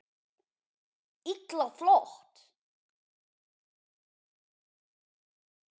Illa flott!